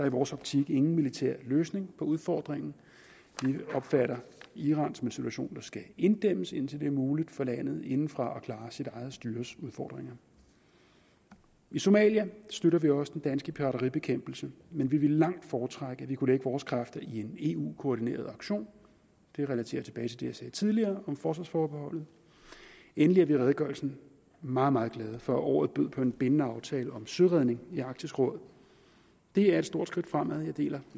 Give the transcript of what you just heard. i vores optik ingen militær løsning på udfordringen vi opfatter iransituationen skal inddæmmes indtil det er muligt for landet indefra at klare sit eget styres udfordringer i somalia støtter vi også den danske pirateribekæmpelse men vi ville langt foretrække at vi kunne lægge vores kræfter i en eu koordineret aktion det relaterer tilbage til det jeg sagde tidligere om forsvarsforbeholdet endelig er vi i redegørelsen meget meget glade for at året bød på en bindende aftale om søredning i arktisk råd det er et stort skridt fremad og jeg deler